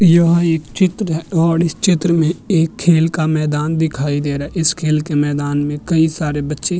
यह एक चित्र है और इस चित्र में एक खेल का मैदान दिखाई दे रहा है इस खेल के मैदान में कई सारे बच्चे --